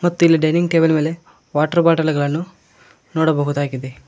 ಮತ್ತಿಲ್ಲಿ dining table ಮೇಲೆ water bottle ಗಳನ್ನು ನೋಡಬಹುದಾಗಿದೆ.